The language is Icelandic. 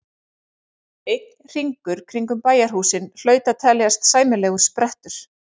Einn hringur kringum bæjarhúsin hlaut að teljast sæmilegur sprettur.